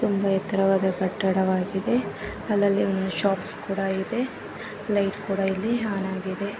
ಒಂದು ಎತ್ತರವಾದ ಕಟ್ಟಡವಾಗಿದೆ ಅಲ್ಲಲ್ಲಿ ಒಂದು ಶಾಪ್ಸ ಕೂಡ ಇದೆ ಲೈಟ್ ಕೂಡ ಇಲ್ಲಿ ಆನಾಗಿದೆ .